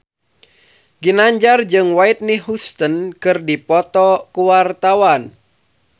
Ginanjar jeung Whitney Houston keur dipoto ku wartawan